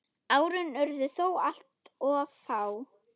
Árin urðu þó alltof fá.